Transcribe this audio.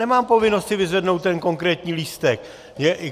Nemám povinnost si vyzvednout ten konkrétní lístek.